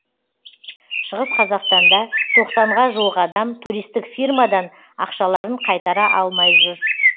шығыс қазақстанда тоқсанға жуық адам туристік фирмадан ақшаларын қайтара алмай жүр